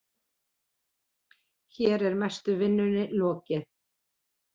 Hér er mestu vinnunni lokið.